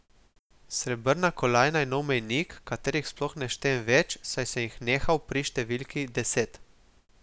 Srebrna kolajna je nov mejnik, katerih sploh ne štejem več, saj sem jih nehal pri številki deset.